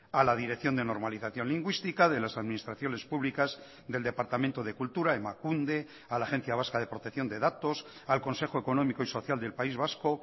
a la dirección de normalización lingüística de las administraciones públicas del departamento de cultura emakunde a la agencia vasca de protección de datos al consejo económico y social del país vasco